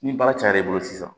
Ni baara cayar'i bolo sisan